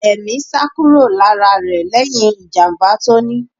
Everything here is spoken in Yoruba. Ẹmi sá kúrò lára rẹ lẹhin ìjàmbá tí ó ní.